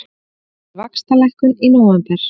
Spáir vaxtalækkun í nóvember